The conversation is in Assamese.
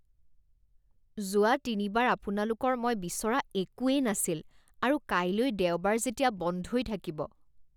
যোৱা তিনিবাৰ আপোনালোকৰ মই বিচৰা একোৱেই নাছিল আৰু কাইলৈ দেওবাৰ যেতিয়া বন্ধই থাকিব।